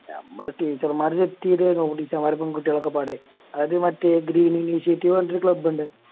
ഞമ്മള് Teacher മാര് Set ചെയ്തേ ആന്നു Teacher മ്മാരും പെൺകുട്ടിയളോക്കെപ്പാടെ അത് മറ്റേ Greening initiative ന്ന് പറഞ്ഞിറ്റോരു Club ഇണ്ട്